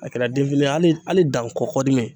A kɛra den fitinin ye ali ali dankɔ kɔdimi